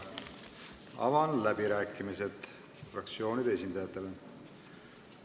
Avan läbirääkimised fraktsioonide esindajatele.